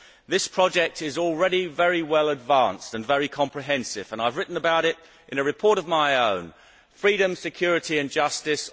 This project is already very well advanced and very comprehensive and I have written about it in a report of my own, Freedom, Security Justice?